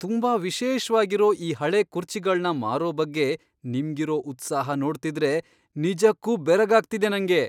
ತುಂಬಾ ವಿಶೇಷ್ವಾಗಿರೋ ಈ ಹಳೇ ಕುರ್ಚಿಗಳ್ನ ಮಾರೋ ಬಗ್ಗೆ ನಿಮ್ಗಿರೋ ಉತ್ಸಾಹ ನೋಡ್ತಿದ್ರೆ ನಿಜಕ್ಕೂ ಬೆರಗಾಗ್ತಿದೆ ನಂಗೆ.